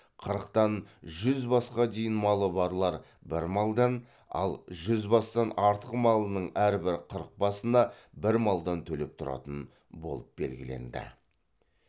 қырықтан жүз басқа дейін малы барлар бір малдан ал жүз бастан артық малының әрбір қырық басына бір малдан төлеп тұратын болып белгіленді